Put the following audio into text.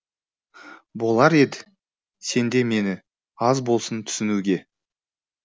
болар ед сенде мені аз болсын түсінуге